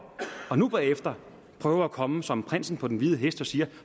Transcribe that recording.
og nu bagefter prøver at komme som prinsen på den hvide hest og siger